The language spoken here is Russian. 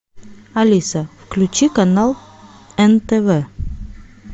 алиса включи канал нтв